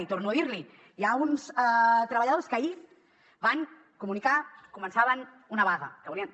i torno a dir li hi ha uns treballadors que ahir van comunicar que començaven una vaga que volien